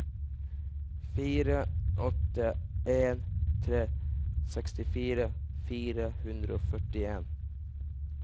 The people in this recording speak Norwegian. fire åtte en tre sekstifire fire hundre og førtien